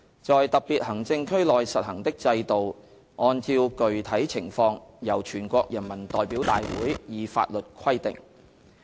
在特別行政區內實行的制度按照具體情況由全國人民代表大會以法律規定"。